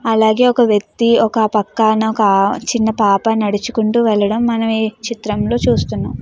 అలాగే ఒక వ్యక్తి ఒక పక్కనోక చిన్న పాప నడుచుకుంటూ వెళ్ళడం మనమీ చిత్రంలో చూస్తున్నాం.